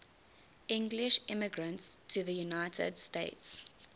english immigrants to the united states